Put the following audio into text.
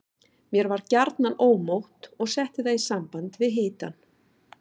Mér var gjarnan ómótt og setti það í samband við hitann.